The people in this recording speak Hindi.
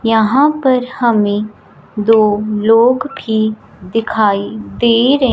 यहां पर हमें दो लोग भी दिखाई दे र--